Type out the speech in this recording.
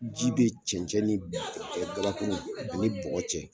Ji be cɛncɛn ni ɛ gabakuruw ani bɔgɔ cɛ